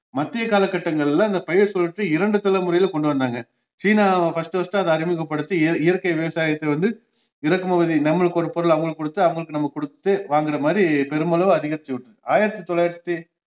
மத்திய காலகட்டங்களில இந்த பயிர்சுழற்சி இரண்டு தலைமுறையில கொண்டுவந்தாங்க சீனா first first அடஹி அறிமுகப்படுத்தி இ~ இயற்கை விவாசயத்தவந்து இறக்குமதி நம்மளுக்கு ஒரு பொருள் அவங்களுக்கு கொடுத்து அவங்களுக்கு நம்ம கொடுத்து வாங்குற மாதிரி பெருமளவு அதிகரிச்சுவிட்டு~ ஆயிரத்தி தொள்ளாயிரத்தி